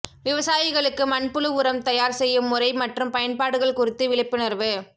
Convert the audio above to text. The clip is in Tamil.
விவசாயிகளுக்கு மண்புழு உரம் தயார் செய்யும் முறை மற்றும் பயன்பாடுகள் குறித்து விழிப்புணர்வு